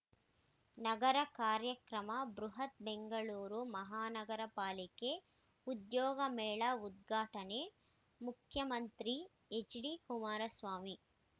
ನಗರ ಕಾರ್ಯಕ್ರಮ ಬೃಹತ್‌ ಬೆಂಗಳೂರು ಮಹಾನಗರ ಪಾಲಿಕೆ ಉದ್ಯೋಗ ಮೇಳ ಉದ್ಘಾಟನೆ ಮುಖ್ಯಮಂತ್ರಿ ಎಚ್‌ಡಿ ಕುಮಾರಸ್ವಾಮಿ